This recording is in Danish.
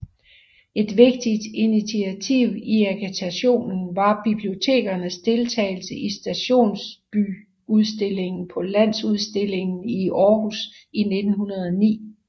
Et vigtigt initiativ i agitationen var bibliotekernes deltagelse i stationsbyudstillingen på Landsudstillingen i Aarhus i 1909